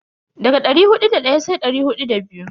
Daga dari hudu da daya sai dari hudu da biyu.